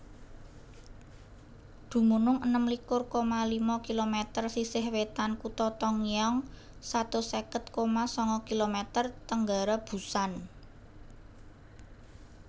Dumunung enem likur koma lima kilometer sisih wètan kutha Tongyeong satus seket koma sanga kilometer tenggara Busan